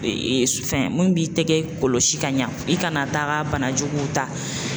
fɛn mun b'i tɛgɛ kɔlɔsi ka ɲa i kana taga banajuguw ta